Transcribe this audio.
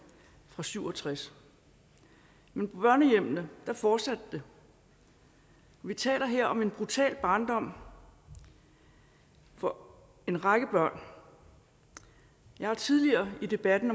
fra nitten syv og tres men på børnehjemmene fortsatte det vi taler her om en brutal barndom for en række børn jeg har tidligere i debatten